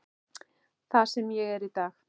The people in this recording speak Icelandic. Það sem ég er í dag.